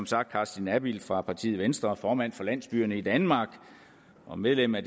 sagt af carsten abild fra partiet venstre som er formand for landsbyerne i danmark og medlem af